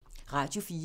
Radio 4